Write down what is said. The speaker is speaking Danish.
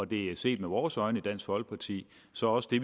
det er set med vores øjne i dansk folkeparti så også det